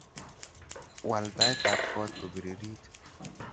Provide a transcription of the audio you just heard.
Waal taitab koot kopiririt